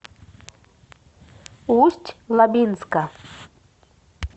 усть лабинска